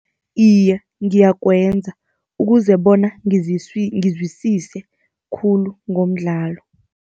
Iye, ngiyakwenza ukuze bona ngizwisise khulu ngomdlalo.